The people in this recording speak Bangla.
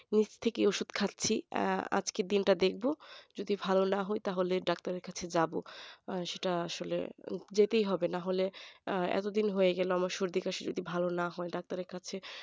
নিজে থেকে ওষুধ খাচ্ছি কিন্তু আজকের দিনটা দেখবো যদি ভালো না হয় তাহলে doctor এর কাছে যাব আর সেটা আসলে যেতেই হবে না হলে তা এতদিন হয়ে গেল সর্দি-কাশি তা যদি না ভালো হয় হয় তো doctor এর কাছে